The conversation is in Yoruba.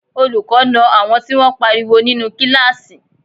Olùkọ́ na àwọn tí wọ́n pariwo nínú kíláàsì